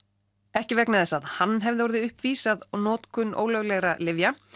ekki vegna þess að hann hefði orðið uppvís að notkun ólöglegra lyfja